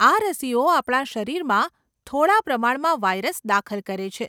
આ રસીઓ આપણા શરીરમાં થોડા પ્રમાણમાં વાઇરસ દાખલ કરે છે.